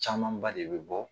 Caman ba de bɛ bɔ